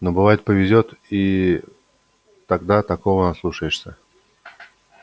но бывает повезёт и тогда такого наслушаешься